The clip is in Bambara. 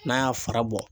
N'a y'a fara bɔ